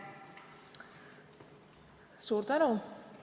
Suur tänu!